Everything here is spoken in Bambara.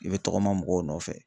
I be tɔgɔma mɔgɔw nɔfɛ.